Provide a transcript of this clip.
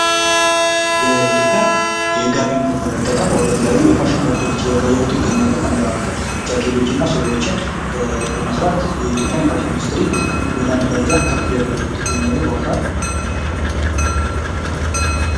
የኢትዮጵያን የጋቢ ምርት በመጠቀም ወደ ተለያዩ ፋሽኖች እየቀየሩት ይገኛሉ ።ከነዛ መካከል ጃኬቶችና ሱሪዎችን በመሠራት የኢትዮጵያን የፋሽን ኢንዱስትሪ ደረጃ ከፍ እያደረጉት ይገኛሉ።